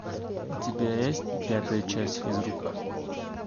у тебя есть пятая часть физрук